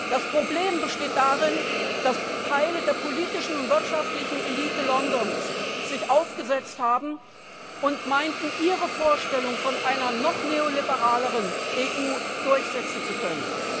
Das Problem besteht darin, dass Teile der politischen und wirtschaftlichen Elite Londons sich aufgesetzt haben und meinten, Ihre Vorstellung von einer noch neoliberaleren EU durchsetzen zu können.